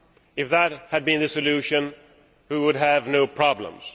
If that had been the solution, we would have no problems.